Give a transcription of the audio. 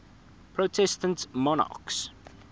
protestant monarchs